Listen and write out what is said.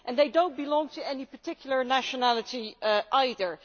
They do not belong to any particular nationality either.